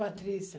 Patrícia.